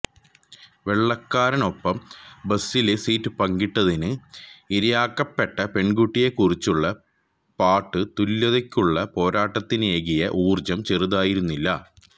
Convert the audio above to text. വെള്ളക്കാരനൊപ്പം ബസിലെ സീറ്റ് പങ്കിട്ടതിന് ഇരയാക്കപ്പെട്ട പെണ്കുട്ടിയെക്കുറിച്ചുള്ള പാട്ട് തുല്യതക്കുള്ള പോരാട്ടത്തിനേകിയ ഊര്ജം ചെറുതായിരുന്നില്ല